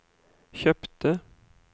kjøpte